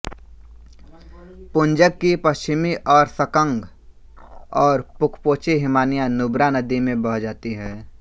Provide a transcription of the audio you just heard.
पुंजक की पश्चिमी ओर सकंग और पुकपोचे हिमानियाँ नुब्रा नदी में बह जाती हैं